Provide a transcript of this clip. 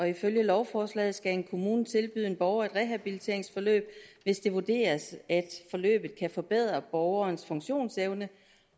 ifølge lovforslaget skal en kommune tilbyde en borger et rehabiliteringsforløb hvis det vurderes at forløbet kan forbedre borgerens funktionsevne